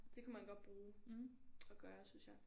Det kunne man godt bruge at gøre synes jeg